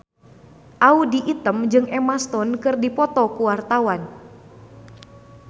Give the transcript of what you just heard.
Audy Item jeung Emma Stone keur dipoto ku wartawan